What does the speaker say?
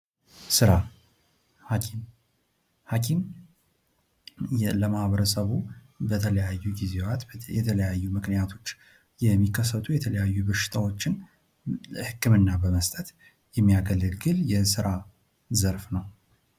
ስራ፦ ሀኪም፦ ሀኪም ለማህበረሰቡ በተለያዩ ጊዚያት በተለያዩ ምክንያቶች የሚከስቱ በሽታዎችን ህክምና በመስጠት የሚያገለግል የህክምና ዘርፍ ነው።